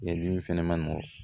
Yeli fɛnɛ ma nɔgɔn